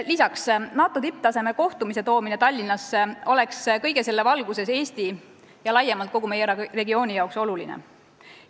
Lisaks, NATO tipptasemel kohtumise toomine Tallinnasse oleks kõige selle valguses Eestile ja laiemalt kogu meie regioonile oluline.